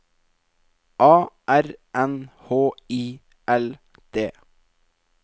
A R N H I L D